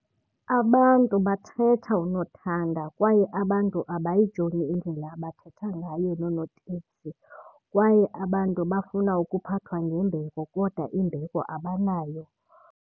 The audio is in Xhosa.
Abantu bathetha unothanda kwaye abantu abayijongi indlela abathetha ngayo noonoteksi, kwaye abantu bafuna ukuphathwa ngembeko kodwa imbeko abanayo.